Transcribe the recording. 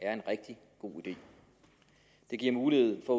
er en rigtig god idé det giver mulighed for